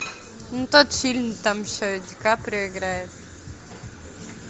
ну тот фильм там еще и ди каприо играет